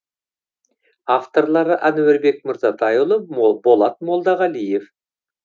авторлары әнуарбек мырзатайұлы болат молдағалиев